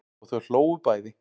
Og þau hlógu bæði.